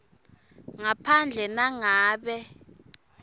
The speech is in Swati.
ngaphandle nangabe